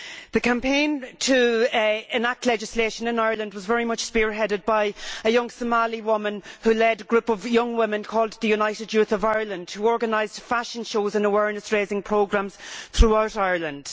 The campaign to enact legislation in Ireland was very much spearheaded by a young Somali woman who led a group of young women called The United Youth of Ireland' which organised fashion shows and awareness raising programmes throughout Ireland.